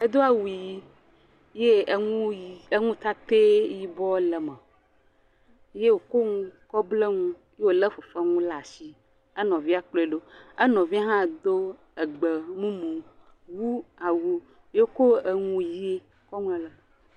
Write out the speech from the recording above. Edo awu ʋi ye enu ʋi enu kake yibɔ le me ye wòko nu kɔ ble nu ye wòlé fefe nu ɖe asi, ye enɔvia kplɔe ɖo, enɔvia hɔ do egbe mumu wu awu ye woko enu ʋi kɔ ŋlɔ le eme.